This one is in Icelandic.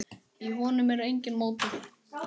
Í honum er enginn mótor.